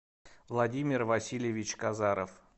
владимир васильевич казаров